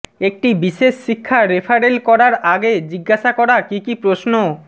একটি বিশেষ শিক্ষা রেফারেল করার আগে জিজ্ঞাসা করা কী কী প্রশ্ন